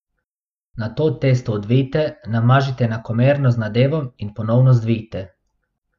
Nato testo odvijte, namažite enakomerno z nadevom in ponovno zvijte.